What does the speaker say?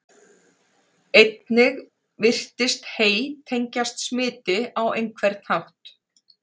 Einnig virðist hey tengjast smiti á einhvern hátt.